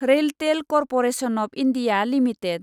RailTel corporation of India limited